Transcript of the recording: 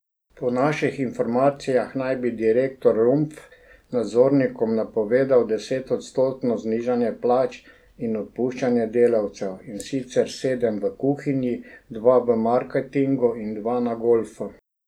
Po naših informacijah naj bi direktor Rumpf nadzornikom napovedal desetodstotno znižanje plač in odpuščanje delavcev, in sicer sedem v kuhinji, dva v marketingu in dva na golfu.